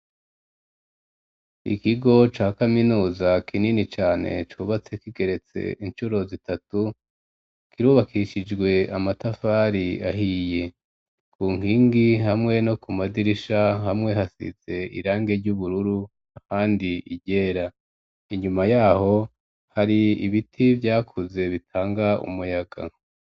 Ikigo ca kaminuza kinini cane cubatse kigeretse ishuro zitatu kirubakishijwe amatafari ahiye ku nkingi hamwe no ku madirisha hamwe hasize irangi ry'ubururu ahandi iryera, inyuma yaho hari ibiti vyakuze bitanga umuyaga.